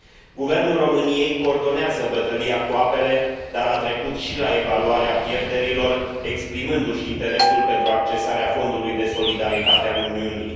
Guvernul României coordonează bătălia cu apele, dar a trecut și la evaluarea pierderilor, exprimându și interesul pentru accesarea Fondului de Solidaritate al Uniunii.